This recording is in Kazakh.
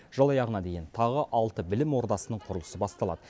жыл аяғына дейін тағы алты білім ордасының құрылысы басталады